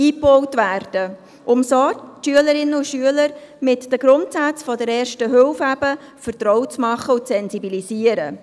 Damit würden die Schülerinnen und Schüler mit den Grundsätzen der Ersten Hilfe vertraut gemacht und sensibilisiert.